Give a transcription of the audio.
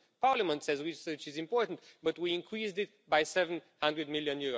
Parliament says research is important, but we increased it by EUR 700 million.